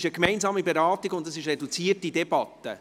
Es ist eine gemeinsame Beratung in einer reduzierten Debatte.